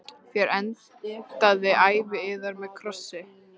Þér endið ævi yðar með krossi.